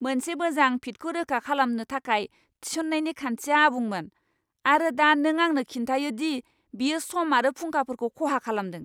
मोनसे मोजां फिटखौ रोखा खालामनो थाखाय थिसननायनि खान्थिया आबुंमोन, आरो दा नों आंनो खिन्थायो दि बेयो सम आरो फुंखाफोरखौ खहा खालामदों!